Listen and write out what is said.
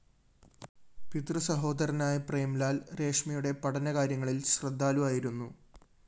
പിതൃസഹോദരനായ പ്രേംലാല്‍ രേഷ്മയുടെ പഠന കാര്യങ്ങളില്‍ ശ്രദ്ധാലുവായിരുന്നു